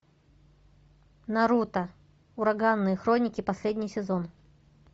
наруто ураганные хроники последний сезон